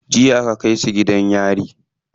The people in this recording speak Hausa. Jiya aka kai su gidan yari.